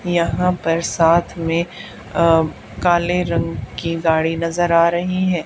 यहां पर साथ में अ काले रंग की गाड़ी नजर आ रही है।